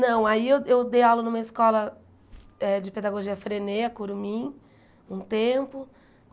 Não, aí eu eu dei aula numa escola eh de pedagogia frenêa, a Curumim, um tempo.